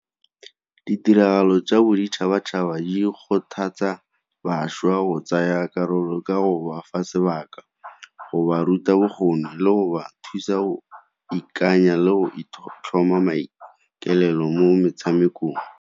Ditiragalo tsa boditšhabatšhaba di kgothatsa bašwa go tsaya karolo ka go ba fa sebaka, go ba ruta bokgoni le go ba thusa go ikanya le go itlhoma maikaelelo mo metshamekong.